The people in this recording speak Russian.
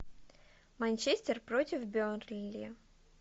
манчестер против бернли